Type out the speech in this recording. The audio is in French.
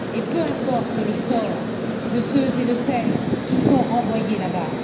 Et peu importe le sort de ceux et de celles qui sont renvoyés là bas.